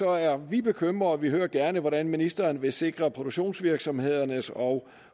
er vi bekymret vi hører gerne hvordan ministeren vil sikre at produktionsvirksomhedernes og